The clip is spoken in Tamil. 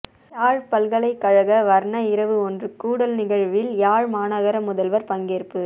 யாழ் பல்கலைக்கழக வர்ண இரவு ஒன்று கூடல் நிகழ்வில் யாழ் மாநகர முதல்வர் பங்கேற்பு